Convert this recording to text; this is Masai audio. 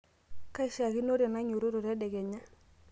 kaishaakinore nainyiototo tedekenya